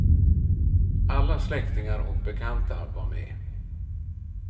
Alla släktingar och bekanta var med.